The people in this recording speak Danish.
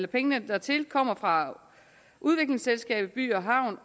pengene dertil kommer fra udviklingsselskabet by havn